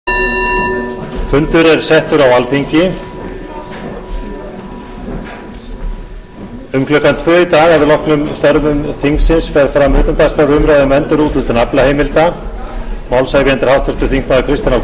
um klukkan tvö í dag það er að loknum umræðum um störf þingsins fer fram utandagskrárumræða um endurúthlutun aflaheimilda málshefjandi er háttvirtur þingmaður kristinn h